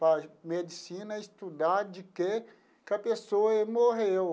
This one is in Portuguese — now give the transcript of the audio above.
Para a medicina estudar de que que a pessoa morreu.